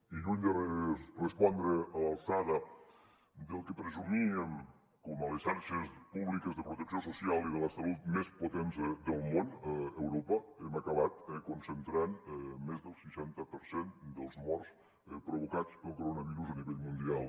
i lluny de respondre a l’alçada del que presumíem com a xarxes públiques de protecció social i de la salut més potents del món a europa hem acabat concentrant més del seixanta per cent dels morts provocats pel coronavirus a nivell mundial